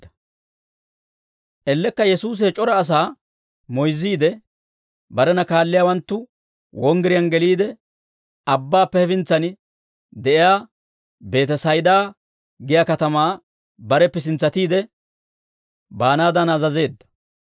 Ellekka Yesuusi he c'ora asaa moyzziide, barena kaalliyaawanttu wonggiriyaan geliide, abbaappe hefintsan de'iyaa Beetesayda giyaa katamaa bareppe sintsatiide baanaadan azazeedda.